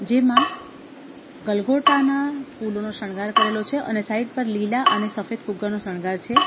જેમાં ગલગોટા ના ફૂલોનો શણગાર કરેલો છે અને સાઈડ પર લીલા અને સફેદ ફુગ્ગા નો શણગાર છે.